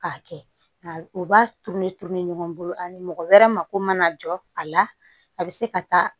K'a kɛ u b'a turu ne turuli ɲɔgɔn bolo ani mɔgɔ wɛrɛ mako mana jɔ a la a bɛ se ka taa